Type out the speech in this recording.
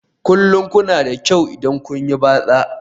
Kullum kuna da kyau idan kun yi batsa